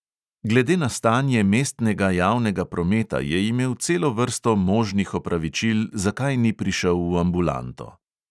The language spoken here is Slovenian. Glede na stanje mestnega javnega prometa je imel celo vrsto možnih opravičil, zakaj ni prišel v ambulanto.